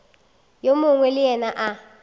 yo mongwe le yena a